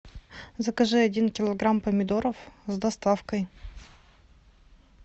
закажи один килограмм помидоров с доставкой